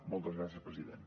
moltes gràcies president